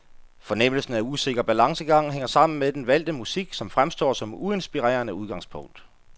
Fornemmelsen af usikker balancegang hænger sammen med den valgte musik, som fremstår som uinspirerende udgangspunkt.